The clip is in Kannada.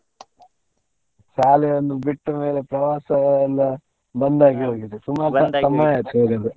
ಶಾಲೆಯನ್ನು ಬಿಟ್ಟ ಮೇಲೆ ಪ್ರವಾಸ ಎಲ್ಲ ಬಂದಾಗಿ ಹೋಗಿದೆ ತುಂಬಾ ಸಮಯ ಆಗಿದೆ ಹೋಗದೆ.